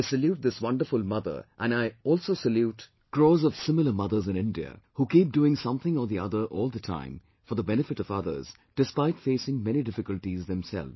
" I salute this wonderful mother and I also salute crores of similar mothers in India who keep doing something or the other all the time for the benefit of others despite facing many difficulties themselves